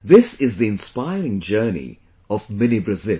This is the Inspiring Journey of Mini Brazil